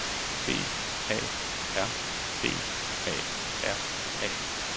B A R B A R A